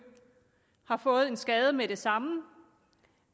har fået en skade med det samme